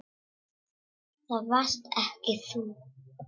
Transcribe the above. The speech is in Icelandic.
Það varst ekki þú.